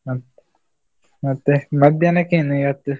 ಹಾ ಮತ್ತೆ ಮಧ್ಯಾಹ್ನಕ್ಕೆ ಏನು ಇವತ್ತು?